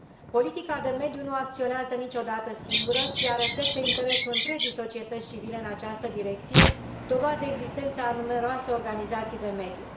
Politica de mediu nu acționează niciodată singură, ci ea reflectă interesul întregii societăți civile în această direcție, dovadă existența a numeroase organizații de mediu.